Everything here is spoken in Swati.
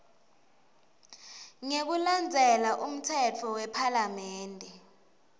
ngekulandzela umtsetfo wephalamende